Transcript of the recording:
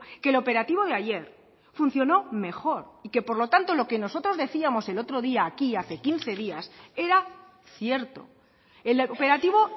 que el operativo de ayer funciono mejor y que por lo tanto lo que nosotros decíamos el otro día aquí hace quince días era cierto el operativo